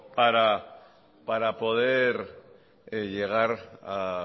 para poder llegar a